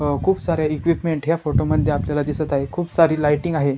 अ खुप सार्या इक्विपमेंट ह्या फोटो मध्ये आपल्याला दिसत आहे खुप सारी लाइटिंग आहे.